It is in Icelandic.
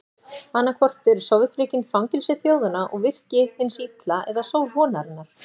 Annaðhvort eru Sovétríkin fangelsi þjóðanna og virki hins illa eða sól vonarinnar.